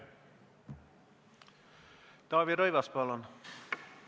Taavi Rõivas, palun!